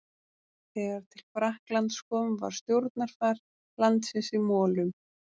Þegar til Frakklands kom var stjórnarfar landsins í molum.